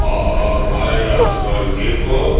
Bay Raskolnikov.